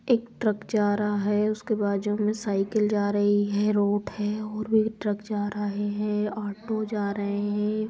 एक ट्रक जा रहा है उसके बाजू में साइकिल जा रहा है एक रोड है और ट्रक जा रहे हैं ऑटो जा रहे हैं।